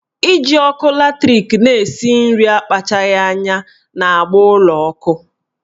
Iji ọkụ latrik na-esi nri akpachaghi anya na-agba ụlọ ọkụ